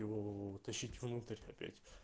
его утащить внутрь опять